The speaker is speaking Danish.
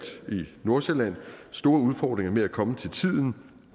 nordsjælland store udfordringer med at komme til tiden